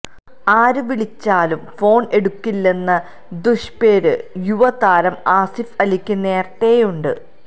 ആര് വിളിച്ചാലും ഫോണ് എടുക്കില്ലെന്ന ദുഷ്പേര് യുവ താരം ആസിഫ് അലിക്ക് നേരത്തെയുണ്ട്